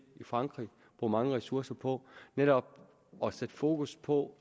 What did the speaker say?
i frankrig bruge mange ressourcer på netop at sætte fokus på